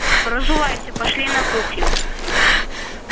разувайся пошли на кухню